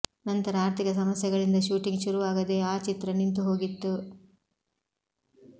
ನಂತರ ಆರ್ಥಿಕ ಸಮಸ್ಯೆಗಳಿಂದ ಶೂಟಿಂಗ್ ಶುರುವಾಗದೇ ಆ ಚಿತ್ರ ನಿಂತು ಹೋಗಿತ್ತು